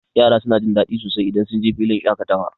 Yara suna jin daɗi sosai idan sunje filin shaƙatawa.